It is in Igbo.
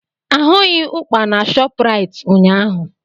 Ahụghị ụkpà na Shopraịt ụnyaahụ.